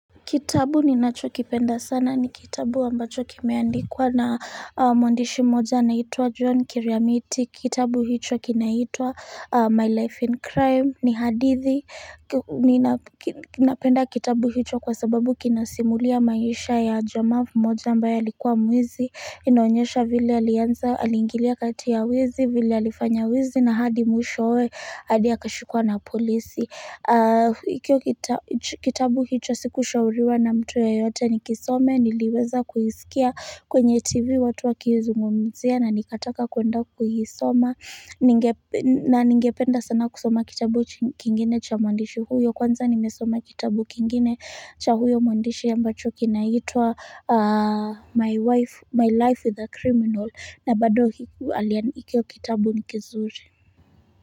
Kitabu ninacho kipenda sana ni kitabu ambachokimeandikwa na mwandishi moja anaitwa John Kiriamiti, kitabu hicho kinaitwa my life in Crime ni hadithi, ninapenda kitabu hicho kwa sababu kinasimulia maisha ya jamaa mmoja ambaye alikuwa mwizi, inaonyesha vile alianza, alingilia kati ya wizi, vile alifanya wizi na hadi mwishoe, hadi akashikwa na polisi Hikio kitabu hicho sikushauriwa na mtu yeyote ni kisome niliweza kukisikia kwenye tv watu wakizungumzia na nikataka kuenda kulisoma na ningependa sana kusoma kitabu kingine cha mwandishi huyo kwanza nimesoma kitabu kingine cha huyo mwandishi ambacho kinaitwa my life with a criminal na bado alianikio kitabu ni kizuri.